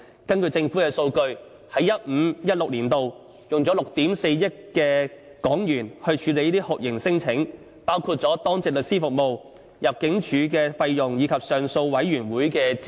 根據政府數據，在 2015-2016 年度已經花了6億 4,000 萬港元處理這些酷刑聲請，包括當值律師服務、入境處費用，以及上訴委員會的資源。